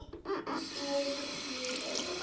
Ár númer eitt.